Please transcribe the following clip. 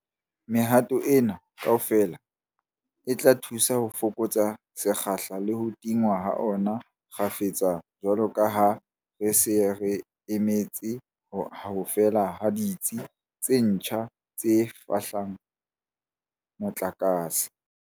Mehato ena kaofela e tla thusa ho fokotsa sekgahla le ho tingwa ha ona kgafetsa jwalo ka ha re sa emetse ho fela ha ditsi tse ntjha tse fehlang motlakase.